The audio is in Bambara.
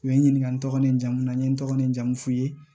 U ye n ɲininka n tɔgɔ ni n jamu na n ye n tɔgɔ ni n jamu f'u ye